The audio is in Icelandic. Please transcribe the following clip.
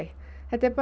þetta er